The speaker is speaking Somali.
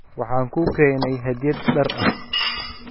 Waxaan kuu keenay hadyad dhar ah.